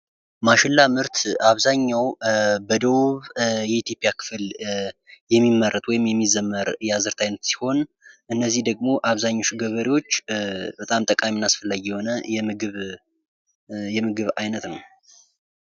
ማሽላ ምርት በአብዛኛው በደቡብ የኢትዮጵያ ክፍል የሚመረት ወይም የሚዘመር የአዝእርት አይነት ሲሆን እነዘህ ደግሞ አብዛኛው ገበሬዎች በጣም ጠቃሚ እና አስፈላጊ የሆነ የምግብ አይነት ነው።